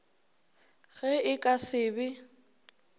ge e ka se be